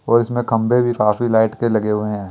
और इसमें खंभे भी काफी लाइट के लगे हुए हैं।